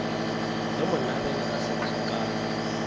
ge monareng a se tsokame